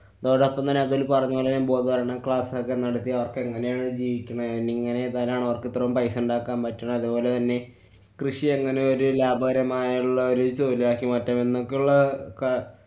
അതോടൊപ്പം തന്നെ അതില്‍ പറഞ്ഞപോലെയും ബോധവല്‍രണ class ഒക്കെ നടത്തി അവര്‍ക്കെങ്ങനെ അവര്‍ ജീവിക്കുന്നെ, എങ്ങനെ അവര്‍ക്കിത്രോം പൈസ ഇണ്ടാക്കാന്‍ പറ്റണേ, അതുപോലെതന്നെ കൃഷി ഇങ്ങനെ ഒരു ലാഭകരമായിള്ളൊരു തൊഴില്‍ ആക്കി മാറ്റാം എന്നൊക്കെയുള്ള കാ~